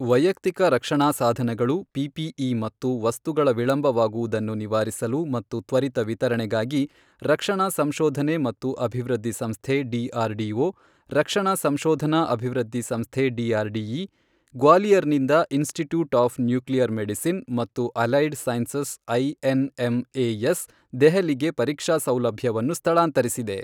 ವೈಯಕ್ತಿಕ ರಕ್ಷಣಾ ಸಾಧನಗಳು ಪಿಪಿಇ ಮತ್ತು ವಸ್ತುಗಳ ವಿಳಂಬವಾಗುವುದನ್ನು ನಿವಾರಿಸಲು ಮತ್ತು ತ್ವರಿತ ವಿತರಣೆಗಾಗಿ, ರಕ್ಷಣಾ ಸಂಶೋಧನೆ ಮತ್ತು ಅಭಿವೃದ್ಧಿ ಸಂಸ್ಥೆ ಡಿಆರ್ಡಿಒ ರಕ್ಷಣಾ ಸಂಶೋಧನಾ ಅಭಿವೃದ್ಧಿ ಸಂಸ್ಥೆ ಡಿಆರ್ಡಿಇ, ಗ್ವಾಲಿಯರ್ನಿಂದ ಇನ್ಸ್ಟಿಟ್ಯೂಟ್ ಆಫ್ ನ್ಯೂಕ್ಲಿಯರ್ ಮೆಡಿಸಿನ್ ಮತ್ತು ಅಲೈಡ್ ಸೈನ್ಸಸ್ ಐಎನ್ಎಂಎಎಸ್ ದೆಹಲಿಗೆ ಪರೀಕ್ಷಾ ಸೌಲಭ್ಯವನ್ನು ಸ್ಥಳಾಂತರಿಸಿದೆ.